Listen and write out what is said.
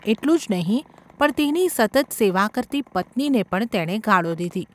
એટલું જ નહિ પણ તેની સતત સેવા કરતી પત્નીને પણ તેણે ગાળો દીધી.